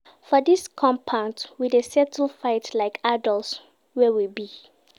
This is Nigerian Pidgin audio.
For dis compound, we dey settle fight like adults wey we be.